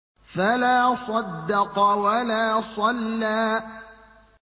فَلَا صَدَّقَ وَلَا صَلَّىٰ